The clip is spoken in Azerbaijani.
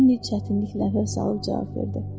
Leni çətinliklə hər salıb cavab verdi.